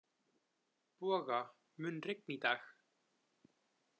Boga, mun rigna í dag?